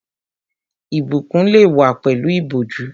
Ìbùkún lè wá pẹ̀lú ìbòjú